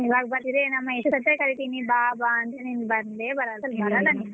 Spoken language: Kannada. ಇವಾಗ ನಿಮ್ಮ ಎಷ್ಟು ಕರಿತೀವಿ ನೀವ್ ಬಾ ಬಾ ಅಂತ ನಿನ್ ಬಂದೆ ಬರಲ್ಲ ಬರಲ್ಲ ನೀನೂ.